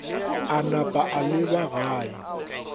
a napa a leba gae